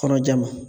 Kɔnɔja ma